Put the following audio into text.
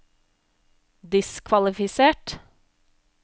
diskvalifisert